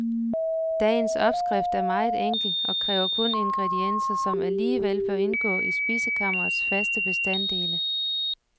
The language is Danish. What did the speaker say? Dagens opskrift er meget enkel og kræver kun ingredienser, som alligevel bør indgå i spisekammerets faste bestandele.